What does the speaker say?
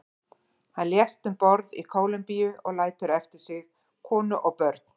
Hann lést um borð í Kólumbíu og lætur eftir sig konu og börn.